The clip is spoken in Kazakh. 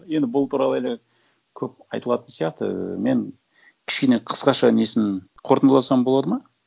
енді бұл туралы әлі көп айтылатын сияқты ііі мен кішкене қысқаша несін қорытындыласам болады ма